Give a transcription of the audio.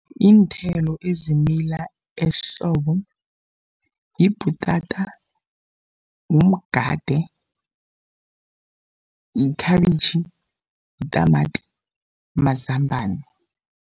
Iinthelo ezimila ehlobo, yibhutata, mgade, yikhabitjhi, yitamati, mazambana.